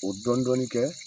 O dɔnin dɔnin kɛ